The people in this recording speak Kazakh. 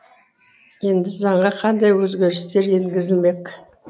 енді заңға қандай өзгерістер енгізілмек